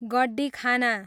गड्डिखाना